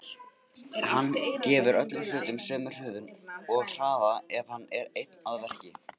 Hann gefur öllum hlutum sömu hröðun og hraða ef hann er einn að verki.